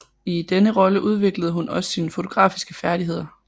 I denne rolle udviklede hun også sine fotografiske færdigheder